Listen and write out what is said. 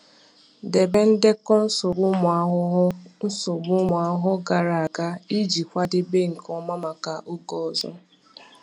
Debe ndekọ nsogbu ụmụ ahụhụ nsogbu ụmụ ahụhụ gara aga iji kwadebe nke ọma maka oge ọzọ.